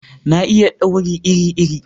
Na iya dauri iri iri